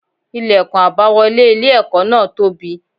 Ilẹ̀kùn àbáwọlé ilé ẹ̀kọ́ náà tóbi.